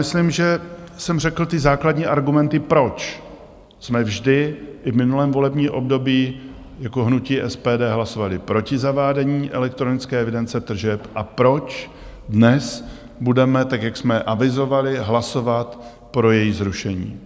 Myslím, že jsem řekl ty základní argumenty, proč jsme vždy, i v minulém volebním období, jako hnutí SPD hlasovali proti zavádění elektronické evidence tržeb a proč dnes budeme, tak jak jsme avizovali, hlasovat pro její zrušení.